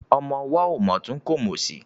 Ọmọ ọwọ́ ò mòtún kò mòsì.